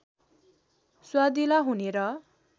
स्वादिला हुने र